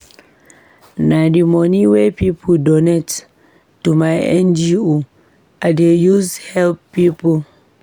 Na di money wey pipo donate to my NGO I dey use help pipo.